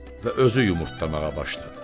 Və özü yumurtlamağa başladı.